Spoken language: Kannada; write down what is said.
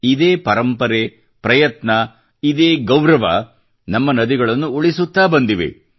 ಇದೇ ಪರಂಪರೆ ಪ್ರಯತ್ನ ಇದೇ ಗೌರವ ನಮ್ಮ ನದಿಗಳನ್ನು ಉಳಿಸುತ್ತಾ ಬಂದಿವೆ